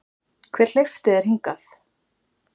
Hver hleypti þér hingað?